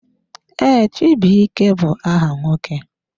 Ee, chibuike bụ aha nwoke.